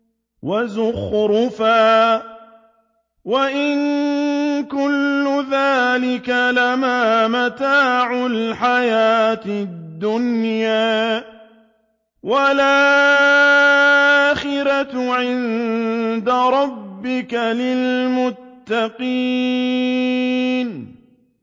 وَزُخْرُفًا ۚ وَإِن كُلُّ ذَٰلِكَ لَمَّا مَتَاعُ الْحَيَاةِ الدُّنْيَا ۚ وَالْآخِرَةُ عِندَ رَبِّكَ لِلْمُتَّقِينَ